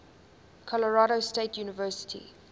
colorado state university